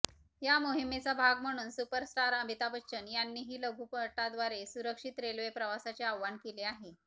या मोहिमेचा भाग म्हणून सुपरस्टार अमिताभ बच्चन यांनीही लघुपटाद्वारे सुरक्षित रेल्वे प्रवासाचे आवाहन केले आहे